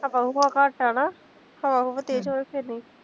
ਹਵਾ ਹੁਵਾ ਘੱਟ ਆ ਨਾ, ਹਵਾ ਹੁਵਾ ਤੇਜ਼ ਹੋਵੇ ਫੇਰ ਨੀ